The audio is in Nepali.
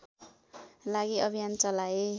लागि अभियान चलाए